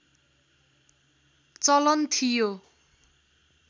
चलन थियो